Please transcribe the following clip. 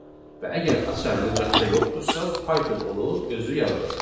Və əgər açar lüğətdə yoxdursa, Python onu özü yaradacaq.